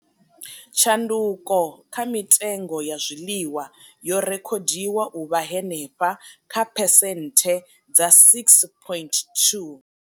Tshanduko kha mitengo ya zwiḽiwa yo rekhodiwa u vha henefha kha phesenthe dza 6.2.